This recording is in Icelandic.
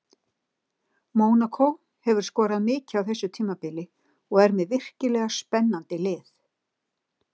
Mónakó hefur skorað mikið á þessu tímabili og er með virkilega spennandi lið.